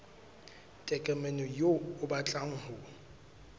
tokomane eo o batlang ho